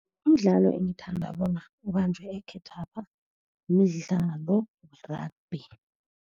Umdlalo engithanda bona ubanjwe ekhethwapha midlalo ye-rugby.